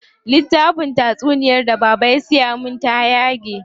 Littafin tatsunyar da baba ya siya min ta yage.